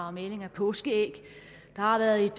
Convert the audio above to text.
og maling af påskeæg der har været et